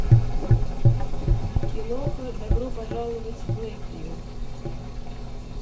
киноха добро пожаловать в лэйквью